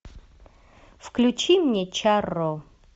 включи мне чарро